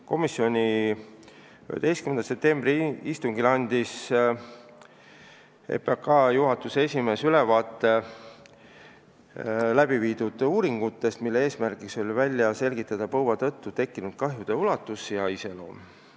Komisjoni 11. septembri istungil andis EPKK juhatuse esimees ülevaate tehtud uuringutest, mille eesmärk oli välja selgitada põua tõttu tekkinud kahjude ulatus ja iseloom.